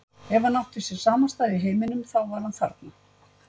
Ef hann átti sér samastað í heiminum, þá var hann þarna.